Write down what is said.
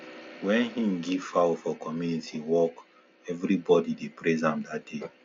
when he give fowl for community work everybody dey praise am that day